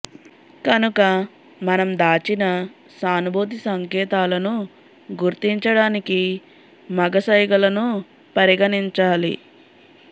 కనుక మనం దాచిన సానుభూతి సంకేతాలను గుర్తించడానికి మగ సంజ్ఞలను పరిగణించాలి